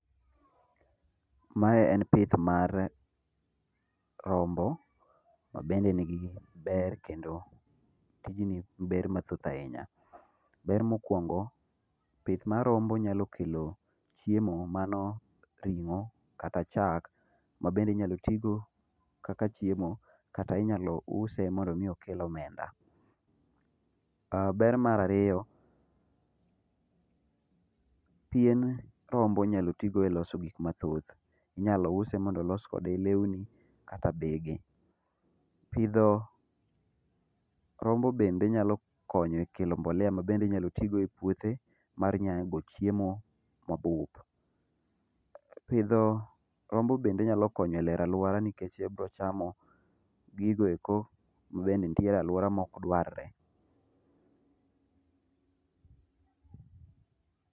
Mae en pith mar rombo obende en gi gik maber kendo nigi be rmathoth ahinya. Ber mokuongo pith mar rombo nyalo kelo chiemo mano ringo kata chak mabende tigo kaka chiemo kata inyalo use mondo mi okel omenda. Ber mar ariyo ,pien rombo inyalo tii go e loso gik mathoth, inyalo use mondo olos kode lewni kata bege. Pidho rombo bende nyalo konyo e kelo mbolea mabende inyalo tigo e puothe mar nyago chiemo mabup. Pidho rombo bende nyalo konyo e lero aluora nikech gibiro chamo gigo eko mabend enitie aluora maok dwar re.